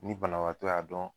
Ni banabaatɔ y'a dɔn